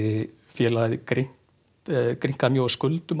félagið grynkaði mjög á skuldum á